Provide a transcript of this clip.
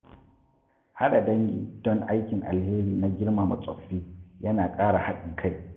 Haɗa dangi don aikin alheri na girmama tsoffi ya na ƙara haɗin kai.